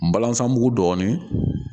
Balansan mugu dɔɔnin